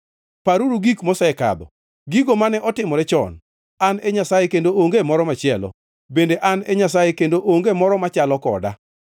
Paruru gik mosekadho, gigo mane otimore chon, An e Nyasaye kendo onge moro machielo, bende An e Nyasaye kendo onge moro machalo koda.